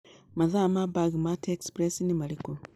mathaa ma bagmatt express nĩmarĩkũ